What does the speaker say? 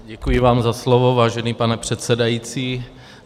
Děkuji vám za slovo, vážený pane předsedající.